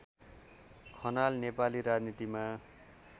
खनाल नेपाली राजनीतिमा